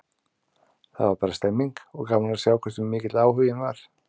Það var bara stemmning, og gaman að sjá hversu mikill áhuginn var.